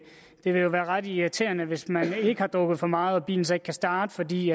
vil jo være ret irriterende hvis man ikke har drukket for meget og bilen så ikke kan starte fordi